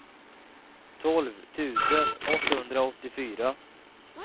tolv tusen åttahundraåttiofyra